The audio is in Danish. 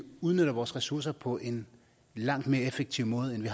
udnytter vores ressourcer på en langt mere effektiv måde end vi